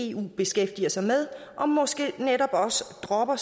eu beskæftiger sig med og måske netop også dropper